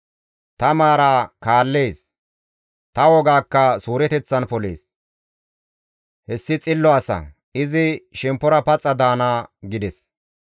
Ta maara kaallees; ta wogaakka suureteththan polees. Hessi xillo asa; izi shemppora paxa daana» gides.